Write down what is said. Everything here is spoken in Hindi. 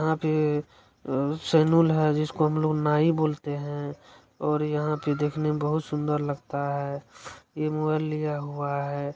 यहां पे सैलून है जिसको हम लोग नाई बोलते हैऔर यहां पे देखने मे बहुत सुंदर लगता है ये मोबाइल लिया हुआ है।